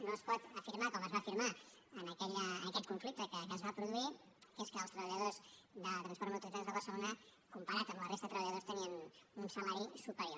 no es pot afirmar com es va afirmar en aquest conflicte que es va produir que és que els treballadors de transports metropolitans de barcelona comparat amb la resta de treballadors tenien un salari superior